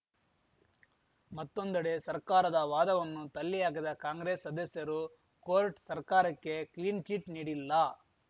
ಮತ್ತೊಂದೆಡೆ ಸರ್ಕಾರದ ವಾದವನ್ನು ತಲ್ಲಿಹಾಕಿದ ಕಾಂಗ್ರೆಸ್‌ ಸದಸ್ಯರು ಕೋರ್ಟ್‌ ಸರ್ಕಾರಕ್ಕೆ ಕ್ಲೀನ್‌ಚಿಟ್‌ ನೀಡಿಲ್ಲ